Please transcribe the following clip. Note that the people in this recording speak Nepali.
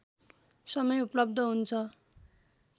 समय उपलब्ध हुन्छ